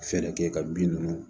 Fɛɛrɛ kɛ ka bin ninnu